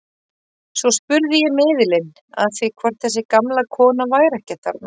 Svo spurði ég miðilinn að því hvort þessi gamla kona væri ekki þarna.